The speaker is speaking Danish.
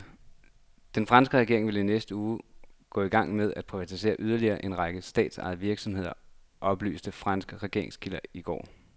Den franske regering vil i næste uge gå i gang med at privatisere yderligere en række statsejede virksomheder, oplyste franske regeringskilder i går.